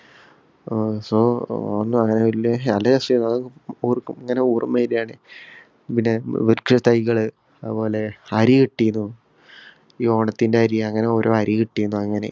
ആഹ് so നല്ല രസാരുന്നു. ഓര്‍ക്കും. ഇങ്ങനെ ഓര്‍മ്മ വരികയാണ്‌. പിന്നെ വൃക്ഷത്തൈകള്, അതുപോലെ അരി കിട്ടീന്നു. ഈ ഓണത്തിന്‍റെ അരി അങ്ങനെ ഓരോ അരി കിട്ടിന്നു അങ്ങനെ.